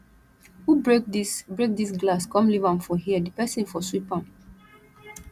who break dis break dis glass come leave am for here the person for sweep am